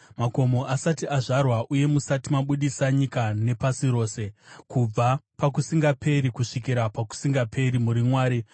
Makomo asati azvarwa uye musati mabudisa nyika nepasi rose, kubva pakusingaperi kusvikira pakusingaperi muri Mwari.